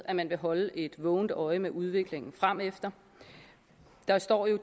at man vil holde et vågent øje med udviklingen fremefter der står i